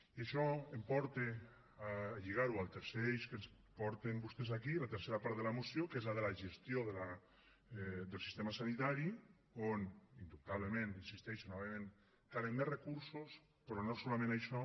i això em porta a lligar ho al tercer eix que ens porten vostès aquí la tercera part de la moció que és la de la gestió del sistema sanitari on indubtablement hi insisteixo novament calen més recursos però no solament això